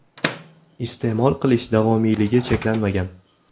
Iste’mol qilish davomiyligi cheklanmagan.